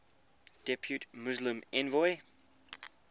depute muslim envoy